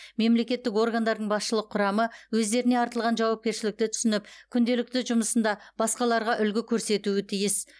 мемлекеттік органдардың басшылық құрамы өздеріне артылған жауапкершілікті түсініп күнделікті жұмысында басқаларға үлгі көрсетуі тиіс